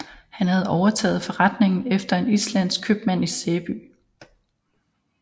Han havde overtaget forretningen efter en islandsk købmand i Sæby